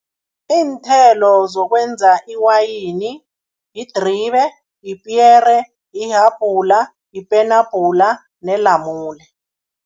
Iinthelo zokwenza iwayini, yidribe, yipiyere, yihabhula, yipenabhula nelamule.